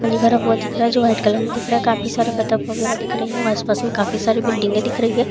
पानी भरा हुआ दिख रहा है जो व्हाइट कलर मे दिख रहा है काफी सारे बतक वगेरे दिख रहे है और आस पास मे काफी सारी बिल्डिंग ए दिख रही है।